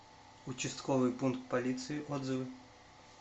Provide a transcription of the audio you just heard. участковый пункт полиции отзывы